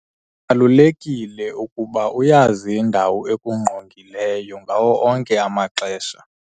Kubalulekile ukuba uyazi indawo ekungqongileyo ngawo onke amaxesha.